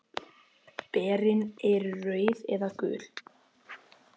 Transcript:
Berin eru rauð eða gul.